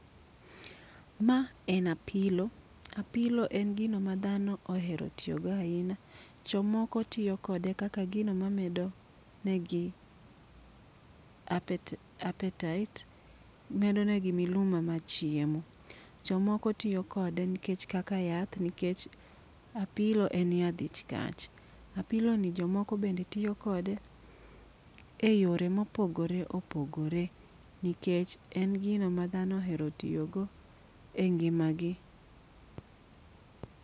Ma en apilo, apilo en gino ma dhano ohero tiyogo ahinya. Jomoko tiyo kode kaka gino ma medo negi apetait, medo negi miluma ma chiemo. Jomoko tiyo kode nikech kaka yath, nikech apilo en yadh ich kach. Apilo ni jomoko bende tiyo kode e yore mopogore opogore, nikech en gino ma dhano ohero tiyo go e ngima gi.